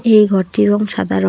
এই ঘরটির রঙ সাদা র--